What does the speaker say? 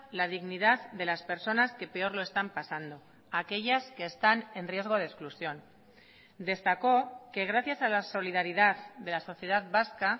la dignidad de las personas que peor lo están pasando aquellas que están en riesgo de exclusión destacó que gracias a la solidaridad de la sociedad vasca